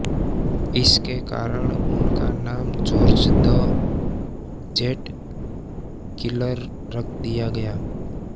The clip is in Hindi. इसके कारण उनका नाम जॉर्ज द जेंटकिलर रख दिया गया